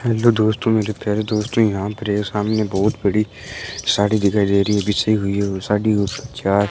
hello दोस्तों मेरे प्यारे दोस्तों यहां पर ये सामने बहोत बड़ी साड़ी दिखाई दे रही है बिछी हुई है और साड़ी यू चार --